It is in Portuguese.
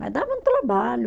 Mas dava um trabalho.